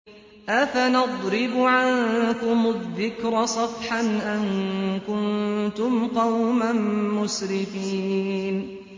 أَفَنَضْرِبُ عَنكُمُ الذِّكْرَ صَفْحًا أَن كُنتُمْ قَوْمًا مُّسْرِفِينَ